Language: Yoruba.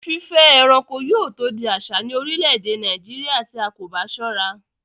Fífẹ́ ẹranko yóò tó di àsà ní orílẹ̀-èdè Nàìjíríà tí a kò bá sọ́ra